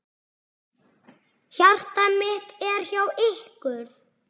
Hjarta mitt er hjá ykkur.